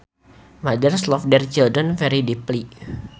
Mothers love their children very deeply